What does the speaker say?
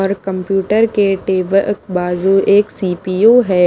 और कंप्यूटर के टेबल बाजू एक सी_पी_यू है।